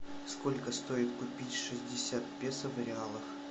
сколько стоит купить шестьдесят песо в реалах